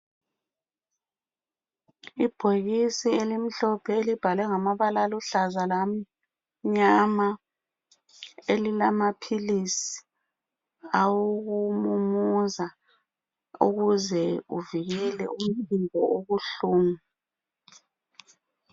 Ibhokisi elimhlophe elibhalwe ngamabala aluhlaza lamnyama .Elilamaphilisi awokumumuza ukuze uvikele umphimbo obuhlungu.